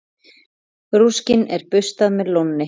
Rúskinn er burstað með lónni.